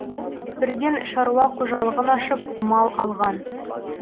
бірден шаруа қожалығын ашып мал алған